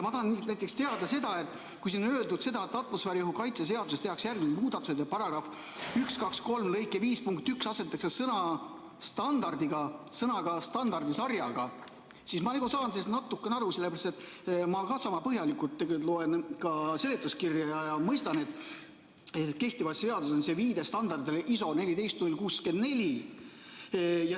Ma tahan näiteks teada seda, et kui siin on öeldud, et atmosfääriõhu kaitse seaduses tehakse järgmised muudatused, § 1233 lõike 5 punktis 1 asendatakse sõna "standardiga" sõnaga "standardisarjaga", siis ma saan sellest natukene aru, sellepärast et ma loen sama põhjalikult ka seletuskirja ja mõistan, et kehtivas seaduses on see viide standardile ISO 14 064.